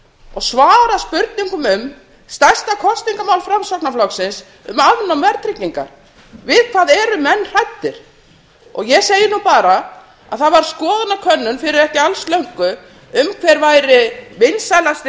og svara spurningum um stærsta kosningamál framsóknarflokksins um afnám verðtryggingar við hvað eru menn hræddir ég segi nú bara að það var skoðanakönnun fyrir ekki alls löngu um hver væri vinsælasti